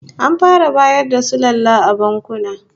An fara bayar da sulalla a bankuna